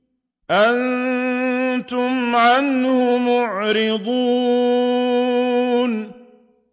أَنتُمْ عَنْهُ مُعْرِضُونَ